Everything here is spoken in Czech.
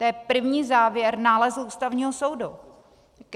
To je první závěr nálezu Ústavního soudu.